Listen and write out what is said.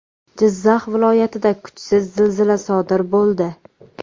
Jizzax viloyatida kuchsiz zilzila sodir bo‘ldi.